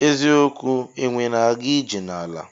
Eziokwu enwe na aga ije na ala.